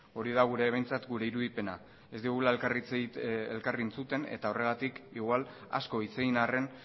hori da behintzat gure irudipena ez dugula elkar entzuten eta horregatik igual asko hitz egin arren